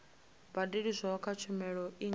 badeliswaho kha tshumelo i nga